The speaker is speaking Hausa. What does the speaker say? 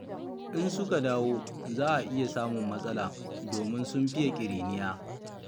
In suka dawo za a iya samun matsala domin sun fiye ƙiriniya.